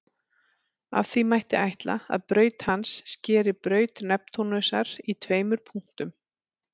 Af því mætti ætla að braut hans skeri braut Neptúnusar í tveimur punktum.